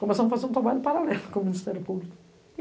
Começamos a fazer um trabalho paralelo com o Ministério Público.